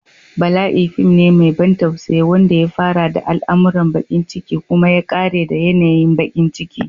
Bala'i fim ne mai ban tausayi wanda ya fara da al'amuran bakin ciki kuma ya ƙare da yanayin bakin ciki.